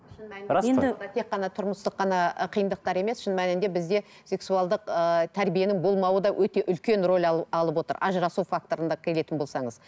тек қана тұрмыстық қана қиындықтар емес шын мәнінде бізде сексуалдық ыыы тәрбиенің болмауы да өте үлкен рөл алып отыр ажырасу факторына келетін болсаңыз